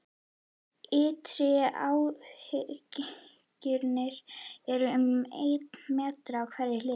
Ytri átthyrningurinn er um einn meter á hverja hlið.